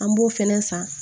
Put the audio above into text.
An b'o fɛnɛ san